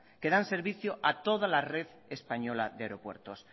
que dan servicio a toda la red española de aeropuertos